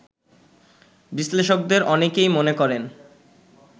বিশ্লেষকদের অনেকেই মনে করেন